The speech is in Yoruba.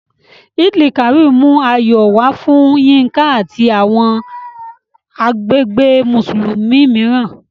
Eid-el-Kabir mú ayọ̀ wá fún Yinka àti àwọn agbègbè Mùsùlùmí mìíràn